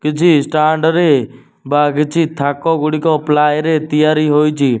କିଛି ଷ୍ଟାଣ୍ଡ ରେ ବା କିଛି ଥାକ ଗୁଡିକ ପ୍ଲାଏ ରେ ତିଆରି ହୋଇଚି ।